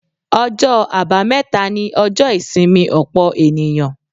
Ọjọ́ àbámẹ́ta ni ọjọ́ ìsinmi ọ̀pọ̀ ènìyàn.